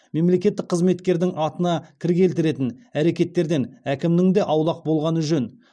мемлекеттік қызметкердің атына кір келтіретін әрекеттерден әркімнің де аулақ болғаны жөн